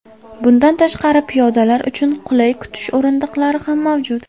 Bundan tashqari, piyodalar uchun qulay kutish o‘rindiqlari ham mavjud.